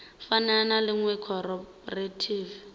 fana na ḽa iṅwe khophorethivi